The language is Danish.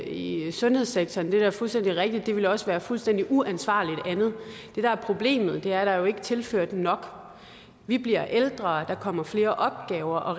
i sundhedssektoren det er fuldstændig rigtigt og det ville også være fuldstændig uansvarligt andet det der er problemet er at der jo ikke er tilført nok vi bliver ældre der kommer flere opgaver og